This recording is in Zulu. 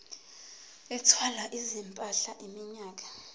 ethwala izimpahla iminyaka